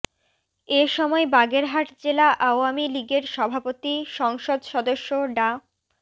এ সময় বাগেরহাট জেলা আওয়ামী লীগের সভাপতি সংসদ সদস্য ডা